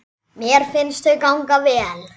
Mér finnst þau ganga vel.